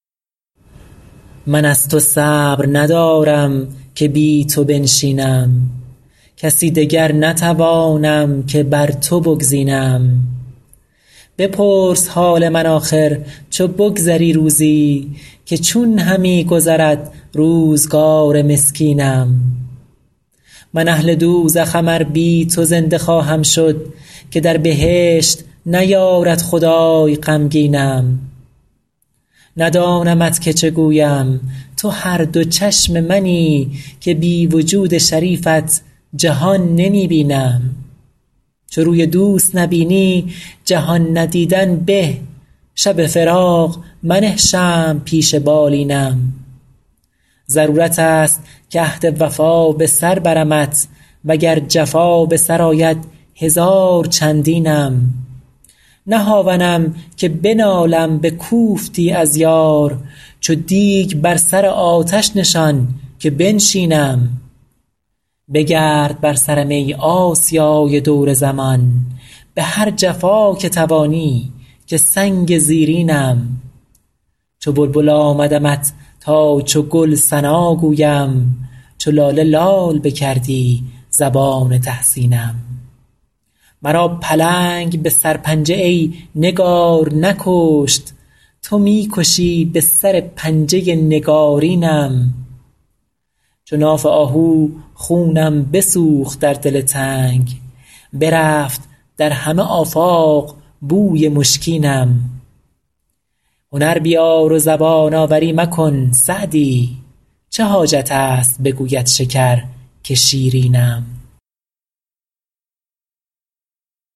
من از تو صبر ندارم که بی تو بنشینم کسی دگر نتوانم که بر تو بگزینم بپرس حال من آخر چو بگذری روزی که چون همی گذرد روزگار مسکینم من اهل دوزخم ار بی تو زنده خواهم شد که در بهشت نیارد خدای غمگینم ندانمت که چه گویم تو هر دو چشم منی که بی وجود شریفت جهان نمی بینم چو روی دوست نبینی جهان ندیدن به شب فراق منه شمع پیش بالینم ضرورت است که عهد وفا به سر برمت و گر جفا به سر آید هزار چندینم نه هاونم که بنالم به کوفتی از یار چو دیگ بر سر آتش نشان که بنشینم بگرد بر سرم ای آسیای دور زمان به هر جفا که توانی که سنگ زیرینم چو بلبل آمدمت تا چو گل ثنا گویم چو لاله لال بکردی زبان تحسینم مرا پلنگ به سرپنجه ای نگار نکشت تو می کشی به سر پنجه نگارینم چو ناف آهو خونم بسوخت در دل تنگ برفت در همه آفاق بوی مشکینم هنر بیار و زبان آوری مکن سعدی چه حاجت است بگوید شکر که شیرینم